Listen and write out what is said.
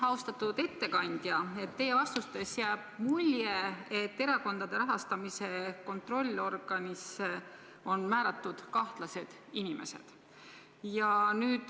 Austatud ettekandja, teie vastustest jääb mulje, et erakondade rahastamise kontrollorganisse on määratud kahtlased inimesed.